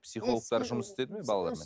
психологтар жұмыс істеді ме балалармен